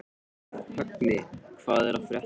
Högni, hvað er að frétta?